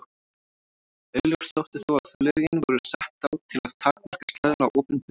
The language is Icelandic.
Augljóst þótti þó að lögin voru sett á til að takmarka slæðuna á opinberum stöðum.